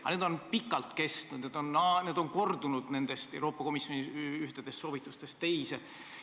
Aga need vajakajäämised on pikalt kestnud, need hinnangud on kandunud Euroopa Komisjoni ühtedest soovitustest teistesse.